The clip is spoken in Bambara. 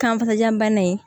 Kanfajabana in